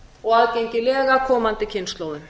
og aðgengilega komandi kynslóðum